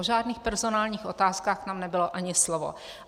O žádných personálních otázkách tam nebylo ani slovo.